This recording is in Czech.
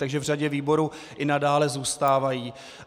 Takže v řadě výborů i nadále zůstávají.